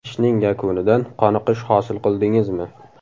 Ishning yakunidan qoniqish hosil qildingizmi?